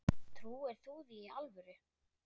Trúir þú því í alvöru?